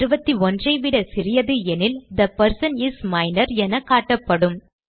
21 ஐ விட சிறியது எனில் தே பெர்சன் இஸ் மைனர் என காட்டப்படும்